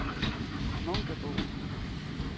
Munkebo